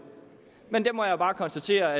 men der må jeg bare konstatere at